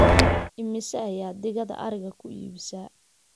imise ayaa digada ariga ku iibisaa